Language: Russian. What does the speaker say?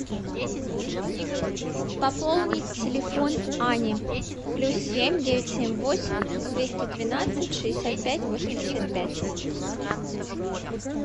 пополнить телефон ани плюс семь девять семь восемь двести двенадцать шестьдесят пять восемьдесят пять